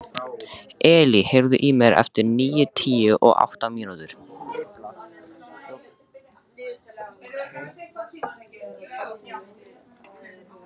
Elí, heyrðu í mér eftir níutíu og átta mínútur.